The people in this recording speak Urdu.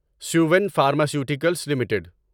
Suven pharmaceuticals limited